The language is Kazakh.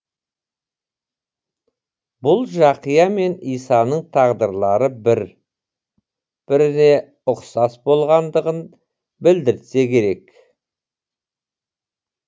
бұл жақия мен исаның тағдырлары бір біріне ұқсас болғандығын білдіртсе керек